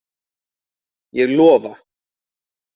Ég lofa.